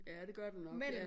Ja det gør du nok ja